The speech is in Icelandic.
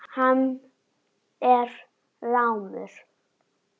Hann er rámur.